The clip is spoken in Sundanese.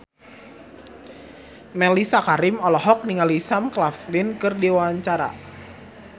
Mellisa Karim olohok ningali Sam Claflin keur diwawancara